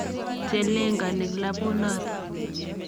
che lengani klabunotok.